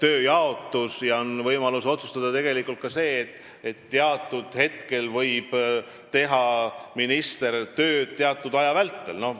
Peaministril on võimalik tegelikult ka seda otsustada, et minister võib teha tööd teatud aja vältel.